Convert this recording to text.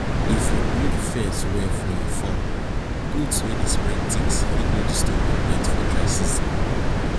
if you build fence well for your farm goats wey dey spread ticks fit no disturb your birds for dry season